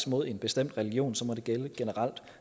mod en bestemt religion så må det gælde